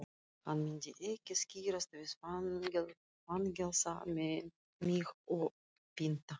Hann myndi ekki skirrast við að fangelsa mig og pynta.